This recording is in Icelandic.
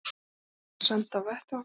Lögreglan send á vettvang